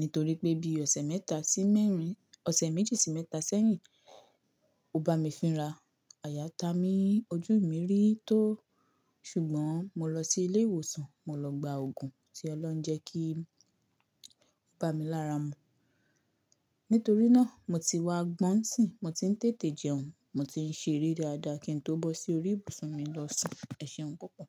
Nítorí pé bí ọ̀sẹ̀ mẹ́ta sí mẹ́rin, ọ̀sẹ̀ méjì sí mẹ́ta sẹ́yìn, ó bá mi fínra. Àyà ta mí ojú mi rí tó. Ṣùgbọ́n mo lọ sí ilé ìwòsàn, mo lọ gba òògùn tí Ọlọ́run jẹ́ kí bá mi lára mu. Nítorí náà mo ti wá gbọ́n sìń, mo ti ń tètè jẹun, mo ti ń ṣe eré dáadáa kí n tó bọ́ sí orí ìbùsùn mi lọ sùn. Ẹ ṣeun púpọ̀.